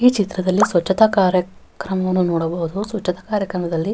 ಈ ಚಿತ್ರದಲ್ಲಿ ಸ್ವಚ್ಛತಾ ಕಾರ್ಯಕ್ರಮವನ್ನು ನೋಡಬಹುದು ಸ್ವಚ್ಛತಾ ಕಾರ್ಯಕ್ರಮದಲ್ಲಿ --